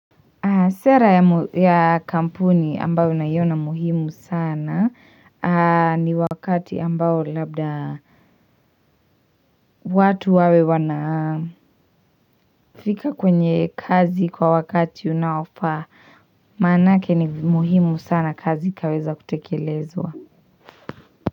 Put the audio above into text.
Sera ya kampuni ambayo naiona muhimu sana ni wakati ambao labda watu wawe wanafika kwenye kazi kwa wakati unaofaa maanake ni muhimu sana kazi ikaweza kutekelezwa.